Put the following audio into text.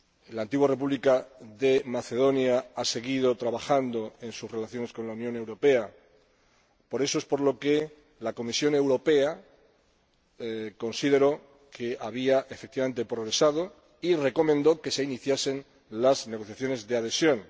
La Antigua República Yugoslava de Macedonia ha seguido trabajando en sus relaciones con la Unión Europea, por lo que la Comisión Europea consideró que había efectivamente progresado y recomendó que se iniciasen las negociaciones de adhesión.